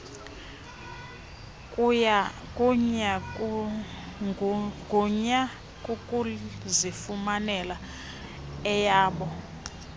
gunya ukuzifumanela eyabo